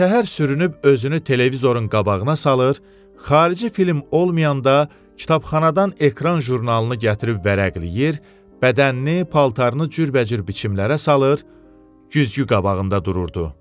Birtəhər sürünüb özünü televizorun qabağına salır, xarici film olmayanda kitabxanadan ekran jurnalını gətirib vərəqləyir, bədənini, paltarını cürbəcür biçimlərə salır, güzgü qabağında dururdu.